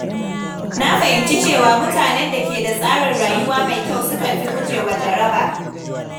Na fahimci cewa mutanen da ke da tsarin rayuwa mai kyau sukan fi gujewa jaraba.